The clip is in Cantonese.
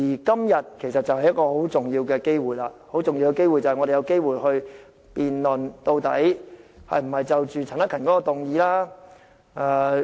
今天就是一個很重要的機會，讓我們有機會辯論究竟是否通過陳克勤議員的議案。